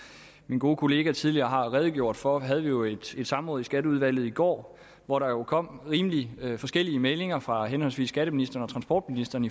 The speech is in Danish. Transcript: min gode kollega tidligere har redegjort for havde vi jo et samråd i skatteudvalget i går hvor der jo kom rimelig forskellige meldinger fra henholdsvis skatteministeren og transportministeren